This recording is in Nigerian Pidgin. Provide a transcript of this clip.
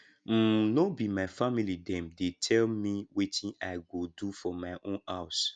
um no be my family dem dey tell me wetin i go do for my own house